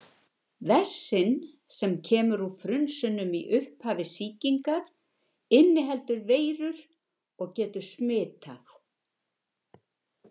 Vessinn sem kemur úr frunsunum í upphafi sýkingar inniheldur veirur og getur smitað.